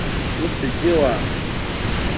o se ke wa ya